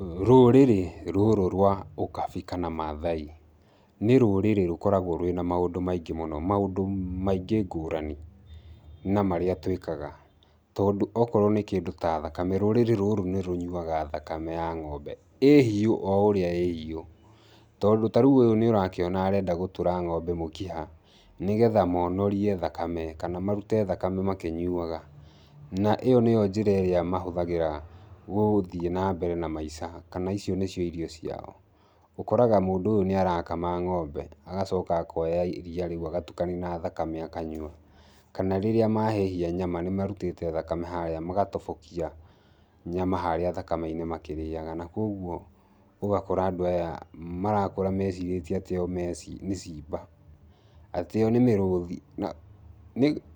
Rũrĩrĩ rũrũ rwa ũkabi kana Maathai, nĩ rũrĩrĩ rũkoragwo rwĩna maũndũ maingĩ mũno. Maũndũ maingĩ ngũrani na marĩa twĩkaga. Tondũ okorwo nĩ kĩndũ ta thakame, rũrĩrĩ rũrũ nĩ rũnyuaga thakame ya ng'ombe. ĩĩ hiu o ũrĩa ĩĩ hiũ. Tondũ ta rĩu ũyũ nĩ ũrakĩona arenda gũtũra ng'ombe mũkiha, nĩgetha monorie thakame, kana marute thakame makĩnyuaga. Na ĩyo nĩyo njĩra ĩrĩa mahũthagĩra gũthiĩ na mbere na maica kana icio nĩcio irio ciao. Ũkoraga mũndũ ũyũ nĩ arakama ng'ombe, agacoka akoya iriia rĩu agatukania na thakame akanyua. Kana rĩrĩa mahĩhia nyama nĩ marutĩte thakame harĩa magatobokia nyama harĩa thakame-inĩ makĩrĩaga. Na kũguo, ũgakora andũ aya marakũra mecirĩtie atĩ o me nĩ simba. Atĩ o nĩ mĩrũthi.